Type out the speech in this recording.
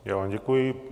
Já vám děkuji.